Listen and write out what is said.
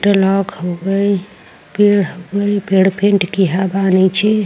टोलॉक हो गइल पेड़ वही पेड़ पेंट किया बा नीचे।